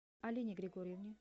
алине григорьевне